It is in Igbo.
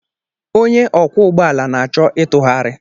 Onye ọkwọ ụgbọ ala na-achọ ịtụgharị.